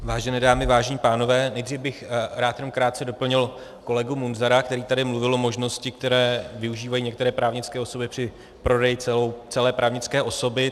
Vážené dámy, vážení pánové, nejdřív bych rád jenom krátce doplnil kolegu Munzara, který tady mluvil o možnosti, které využívají některé právnické osoby při prodeji celé právnické osoby.